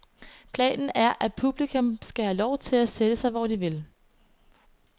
Planen er, at publikum skal have lov til at sætte sig hvor de vil.